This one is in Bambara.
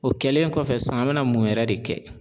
O kɛlen kɔfɛ sisan an mɛna mun yɛrɛ de kɛ?